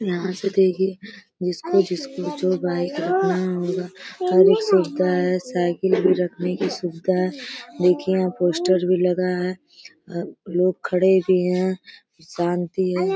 यहाँ से देखिए जिसको जिसको जो बाइक रखना होगा हर एक सुविधा है। साइकिल भी रखने की सुविधा है। देखिए यहाँ पोस्टर भी लगा है। अ लोग खड़े भी हैं। शांति है।